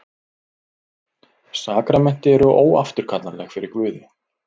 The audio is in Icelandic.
Sakramenti eru óafturkallanleg fyrir Guði.